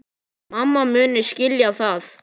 Mamma muni skilja það.